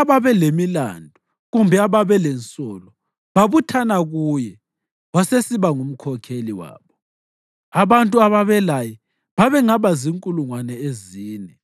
ababelemilandu kumbe ababelensolo babuthana kuye, wasesiba ngumkhokheli wabo. Abantu ababelaye babengaba zinkulungwane ezine.